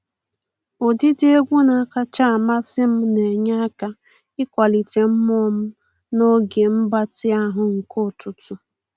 Ụdịdị egwu na-akacha amasị m na enye aka ịkwalite mmụọ m n'oge mgbatị ahụ nke ụtụtụ.